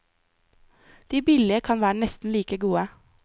De billige kan være nesten like gode.